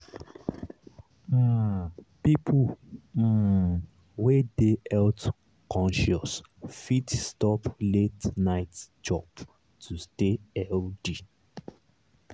um people um wey dey health-conscious fit stop late-night chop to stay healthy.